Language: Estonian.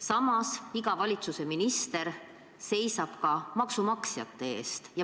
Samas, iga valitsuse minister seisab ka maksumaksjate eest.